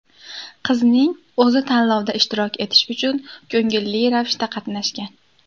Qizning o‘zi tanlovda ishtirok etish uchun ko‘ngilli ravishda qatnashgan.